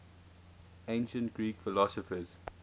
ancient greek philosophers